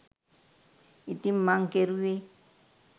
ඉතිං මං කෙරුවේ